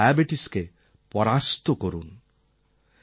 অর্থাৎ ডায়াবেটিসকে পরাস্ত করুন